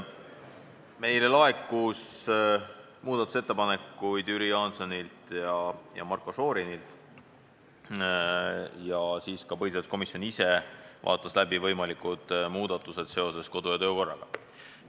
Meile laekus muudatusettepanekuid Jüri Jaansonilt ja Marko Šorinilt ning ka põhiseaduskomisjon ise vaatas läbi võimalikud muudatused seoses meie kodu- ja töökorraga.